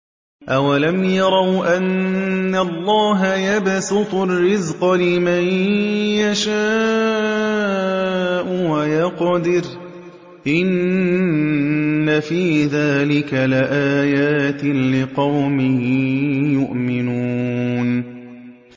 أَوَلَمْ يَرَوْا أَنَّ اللَّهَ يَبْسُطُ الرِّزْقَ لِمَن يَشَاءُ وَيَقْدِرُ ۚ إِنَّ فِي ذَٰلِكَ لَآيَاتٍ لِّقَوْمٍ يُؤْمِنُونَ